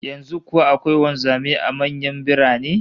Yanzu kuwa akwai wanzamai a manyan birane?